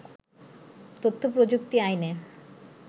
তথ্য-প্রযুক্তি আইনে